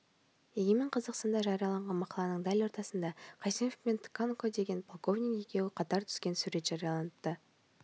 егемен қазақстанда жарияланған мақаланың дәл ортасында қайсенов пен тканко деген полковник екеуі қатар түскен сурет жарияланыпты